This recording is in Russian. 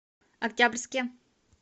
октябрьске